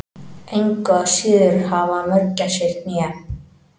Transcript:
Engu að síður hafa mörgæsir hné.